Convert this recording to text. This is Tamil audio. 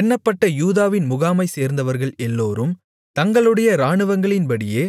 எண்ணப்பட்ட யூதாவின் முகாமைச்சேர்ந்தவர்கள் எல்லோரும் தங்களுடைய இராணுவங்களின்படியே